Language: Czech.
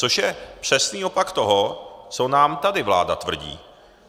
Což je přesný opak toho, co nám tady vláda tvrdí.